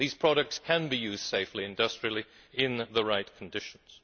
These products can be used safely industrially in the right conditions.